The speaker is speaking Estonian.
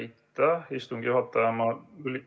Aitäh, istungi juhataja!